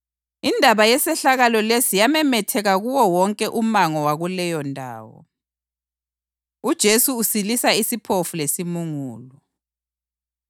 Indaba yesehlakalo lesi yamemetheka kuwo wonke umango wakuleyondawo. UJesu Usilisa Isiphofu Lesimungulu